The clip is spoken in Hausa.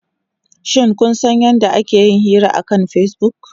Shin kun san yadda ake yin hira akan Facebook?